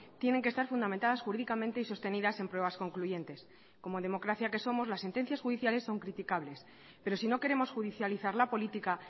tienen que estar fundamentadas jurídicamente y sostenidas en pruebas concluyentes como democracia que somos las sentencias judiciales son criticables pero si no queremos judicializar la política